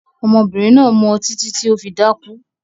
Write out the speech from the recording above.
Ọmọbìnrin náà mu ọtí títí tí ó fi dákú